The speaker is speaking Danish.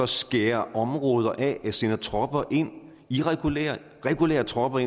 skære områder af eller sender tropper ind irregulære og regulære tropper